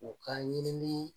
O ka ɲinini